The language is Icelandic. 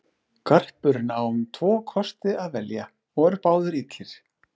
Garpurinn á um tvo kosti að velja og eru báðir illir.